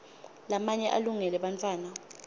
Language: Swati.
lamanye alungele bantfwana